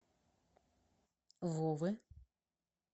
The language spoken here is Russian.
вовы